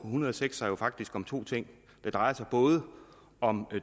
en hundrede og seks sig faktisk om to ting det drejer sig både om